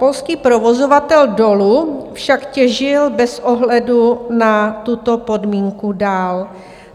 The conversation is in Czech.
Polský provozovatel dolu však těžil bez ohledu na tuto podmínku dál.